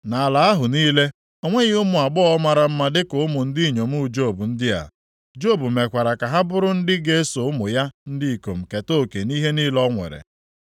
Nʼala ahụ niile, o nweghị ụmụ agbọghọ mara mma dịka ụmụ ndị inyom Job ndị a. Job mekwara ka ha bụrụ ndị ga-eso ụmụ ya ndị ikom keta oke nʼihe niile o nwere.